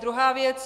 Druhá věc.